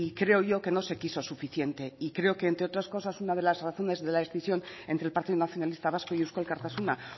creo yo que no se quiso suficiente y creo que entre otras cosas una de las razones de la decisión entre el partido nacionalista vasco y euzko alkartasuna